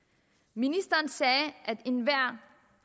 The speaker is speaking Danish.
ministeren sagde at enhver